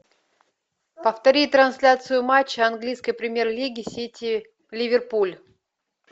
повтори трансляцию матча английской премьер лиги сити ливерпуль